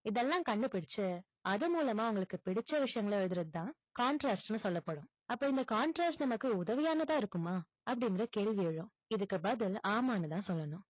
இதெல்லாம் கண்டுபிடுச்சு, அது மூலமா உங்களுக்கு பிடிச்ச விஷயங்களை எழுதுறது தான் contrast ன்னு சொல்லப்படும். அப்போ இந்த contrast நமக்கு உதவியானதா இருக்குமா? அப்படிங்கிற கேள்வி எழும். இதற்கு பதில் ஆமான்னு தான் சொல்லணும்.